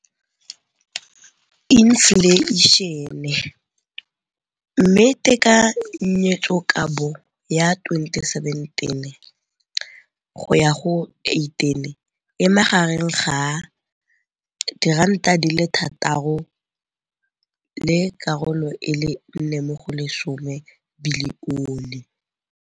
Infleišene, mme tekanyetsokabo ya 2017, 18, e magareng ga R6.4 bilione.